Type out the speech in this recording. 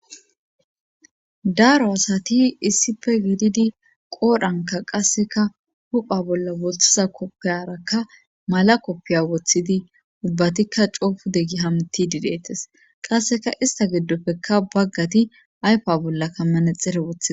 Daaro asati issipe giididi qoodhanka qasseka hupha bolla woththiza koppiyarakka mala koppiya woththidi ubbatikka coofu deggi hamti didetes qasseka ista giddoppekka baggati aypa bolla kammanexere wothie.